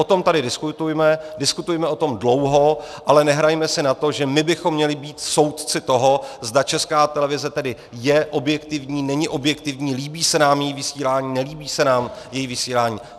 O tom tady diskutujme, diskutujme o tom dlouho, ale nehrajme si na to, že my bychom měli být soudci toho, zda Česká televize tedy je objektivní, není objektivní, líbí se nám její vysílání, nelíbí se nám její vysílání.